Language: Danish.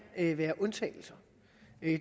være undtagelser